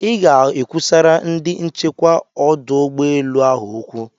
I ga-ekwusara ndị nchekwa ọdụ ụgbọ elu ahụ okwu.